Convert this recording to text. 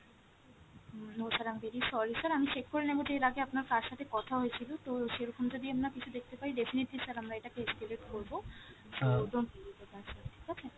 no sir, i am very sorry sir, আমি check করে নেবো যে এর আগে আপনার কার সাথে কথা হয়েছিলো তো সেরকম যদি আমরা কিছু দেখতে পাই definitely sir আমরা এটাকে escalate করবো sir ঠিক আছে!